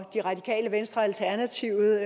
det radikale venstre og alternativet